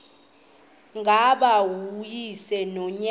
ngaba uyise nonyana